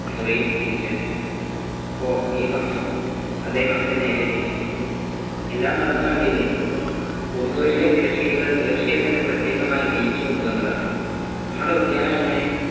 മുറിയിൽ തിരിച്ചെത്തി ഓ നീ വന്നോ അദ്ദേഹം അവൻ്റെ നേരത്തിരി എല്ലാം നടന്നു കണ്ടില്ലേ പൂമുറിയിലെ തിരശീലകൾ പേർഷ്യയിൽ നിന്ന്‌ പ്രത്യേകമായി നയ്യിച്ചു കൊണ്ടുവന്നതാണ് നമ്മടെ ഉദ്യാനമെങ്ങനെ